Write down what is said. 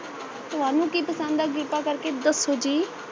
ਤੁਹਾਨੂੰ ਕੀ ਪਸ਼ੰਦ ਹੈ ਕ੍ਰਿਪਾ ਕਰ ਕੇ ਦਸੋ ਜੀ